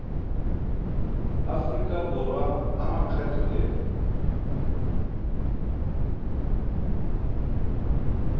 aforika borwa a makgetho le